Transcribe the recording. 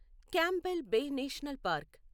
Campbell Bay National park